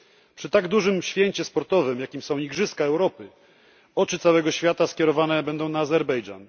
Przy tak dużym święcie sportowym, jakim są igrzyska Europy, oczy całego świata skierowane będą na Azerbejdżan.